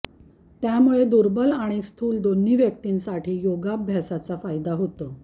त्यामुळे दुर्बल आणि स्थूल दोन्ही व्यक्तींसाठी योगाभ्यासाचा फायदा होतो